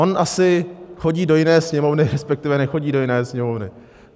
On asi chodí do jiné Sněmovny, respektive nechodí do jiné Sněmovny.